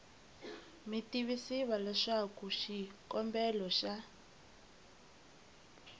mi tivisiwa leswaku xikombelo xa